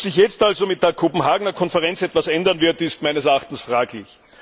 Ob sich jetzt also mit der Kopenhagener Konferenz etwas ändern wird, ist meines Erachtens fraglich.